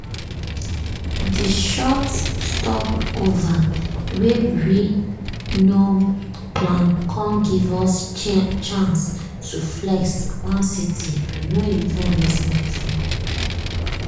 di short stopover wey we nor um plan com give us chance to flex one city we no even reason before.